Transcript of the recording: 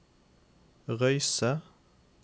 Røyse